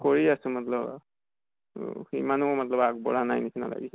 কৰি আছো মত্লব অহ ইমানো মতলব আগ বঢ়া নাই নিছিনা লাগিছে।